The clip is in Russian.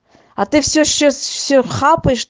а ты все сейчас все хапаешь